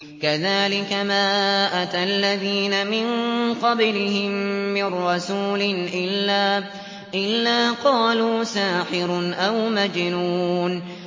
كَذَٰلِكَ مَا أَتَى الَّذِينَ مِن قَبْلِهِم مِّن رَّسُولٍ إِلَّا قَالُوا سَاحِرٌ أَوْ مَجْنُونٌ